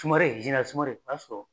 Tumare sumare o y'a sɔrɔ